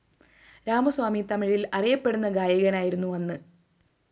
രാമസ്വാമി തമിഴില്‍ അറിയപ്പെടുന്ന ഗായകനായിരുന്നു അന്ന്